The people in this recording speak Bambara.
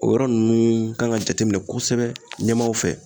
O yɔrɔ ninnu kan ka jateminɛ kosɛbɛ ɲɛmaaw fɛ